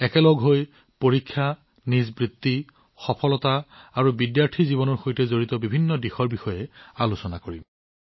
একেলগে আমি পৰীক্ষা কেৰিয়াৰ সফলতা আৰু শিক্ষাৰ্থী জীৱনৰ সৈতে সম্পৰ্কিত বহুতো দিশৰ ওপৰত চিন্তাচৰ্চা কৰিম